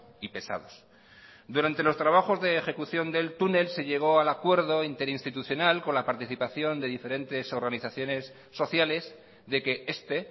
y pesados durante los trabajos de ejecución del túnel se llegó al acuerdo interinstitucional con la participación de diferentes organizaciones sociales de que este